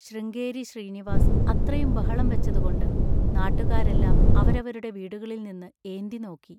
ശൃംഗേരി ശ്രീനിവാസ് അത്രയും ബഹളംവെച്ചതുകൊണ്ട് നാട്ടുകാരെല്ലാം അവരവരുടെ വീടുകളിൽനിന്ന് ഏന്തിനോക്കി.